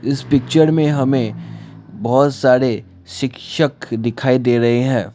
इस पिक्चर में हमें बहोत सारे शिक्षक दिखाई दे रहे हैं।